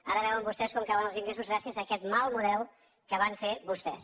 ara veuen vostès com cauen els ingressos gràcies a aquest mal model que van fer vostès